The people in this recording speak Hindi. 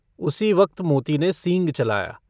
उसी वक्त मोती ने सींग चलाया।